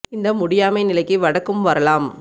இந்த முடியாமை நிலைக்கு வடக்கும் வரலாம்